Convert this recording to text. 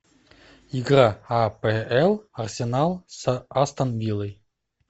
игра апл арсенал с астон виллой